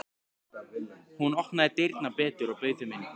Hún opnaði dyrnar betur og bauð þeim inn.